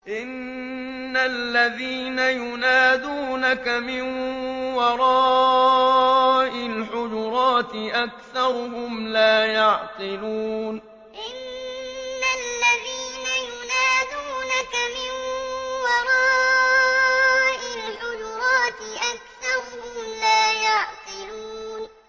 إِنَّ الَّذِينَ يُنَادُونَكَ مِن وَرَاءِ الْحُجُرَاتِ أَكْثَرُهُمْ لَا يَعْقِلُونَ إِنَّ الَّذِينَ يُنَادُونَكَ مِن وَرَاءِ الْحُجُرَاتِ أَكْثَرُهُمْ لَا يَعْقِلُونَ